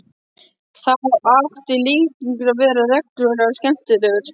Þá átti Lýtingur til að vera reglulega skemmtilegur.